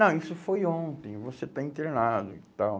Não, isso foi ontem, você está internado e tal.